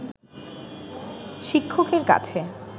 শিক্ষকের কাছে